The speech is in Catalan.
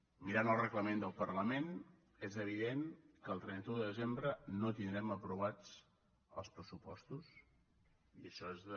mirant el reglament del parlament és evident que el trenta un de desembre no tindrem aprovats els pressupostos i això és de